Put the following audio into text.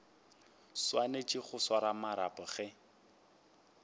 swanetše go swara marapo ge